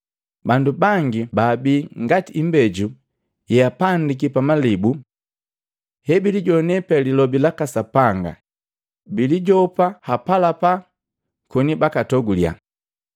Bandu bangi baabii ngati imbeju yeapandiki pamalibu. Hebilijoana pe Lilobi laka Sapanga bilijopa hapalapa koni bakatogulya.